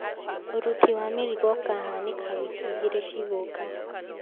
Ũruti wa mĩrigo ũkahanĩka wiki igĩrĩ ciigũka